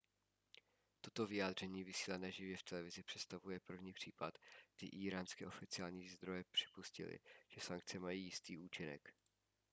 toto vyjádření vysílané živě v televizi představuje první případ kdy íránské oficiální zdroje připustily že sankce mají jistý účinek